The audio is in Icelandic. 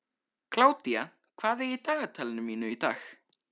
Kládía, hvað er í dagatalinu mínu í dag?